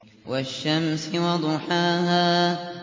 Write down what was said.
وَالشَّمْسِ وَضُحَاهَا